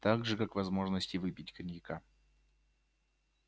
так же как возможности выпить коньяка